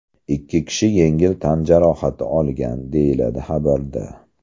Ikki kishi yengil tan jarohati olgan”, deyiladi xabarda.